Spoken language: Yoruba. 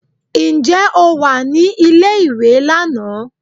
Ǹjẹ́ o wà ní ilé ìwé lánàá?